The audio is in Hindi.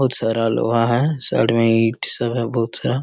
बहुत सारा लोहा है। साइड में ईट सब है बहुत सा।